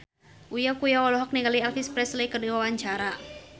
Uya Kuya olohok ningali Elvis Presley keur diwawancara